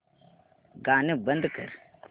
गाणं बंद कर